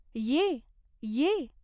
ये, ये.